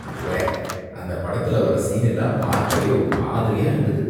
உவ்வே! அந்த படத்துல வர்ற சீன் எல்லாம் பார்க்கவே ஒரு மாதிரியா இருந்தது.